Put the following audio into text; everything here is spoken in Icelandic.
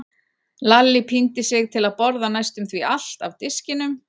Lalli píndi sig til að borða næstum því allt af diskinum.